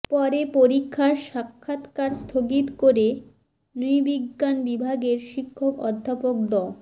পরে পরীক্ষার সাক্ষাৎকার স্থগিত করে নৃবিজ্ঞান বিভাগের শিক্ষক অধ্যাপক ড